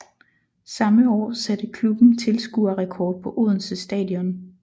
Samme år satte klubben tilskuerrekord på Odense Stadion